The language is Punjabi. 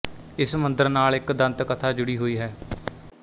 ਇਸ ਮੰਦਰ ਨਾਲ ਇੱਕ ਦੰਤ ਕਥਾ ਜੁੜੀ ਹੋਈ ਹੈ